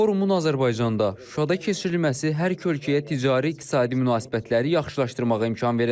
Forumun Azərbaycanda, Şuşada keçirilməsi hər iki ölkəyə ticari-iqtisadi münasibətləri yaxşılaşdırmağa imkan verəcək.